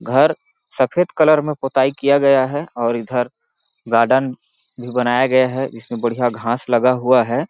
घर सफेद कलर में पोताई किया गया है और इधर गार्डन भी बनाया गया है इसमें बढ़िया घास लगा हुआ हैं।